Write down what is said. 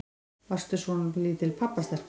Varstu svolítil pabbastelpa?